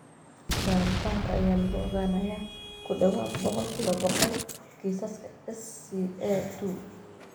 Baaritaankan ayaa lagu ogaanayaa ku dhawaad ​ boqolkibo boqol kiisaska SCA2.